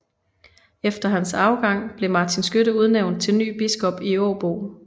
Efter hans afgang blev Martin Skytte udnævnt til ny biskop i Åbo